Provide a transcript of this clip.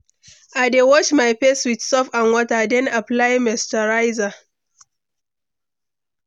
I dey wash my face with soap and water, then apply moisturizer.